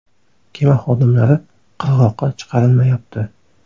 Kema xodimlari qirg‘oqqa chiqarilmayapti.